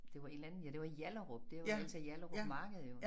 Det var et eller andet ja det var i Hjallerup der hvor der altid er Hjallerup marked jo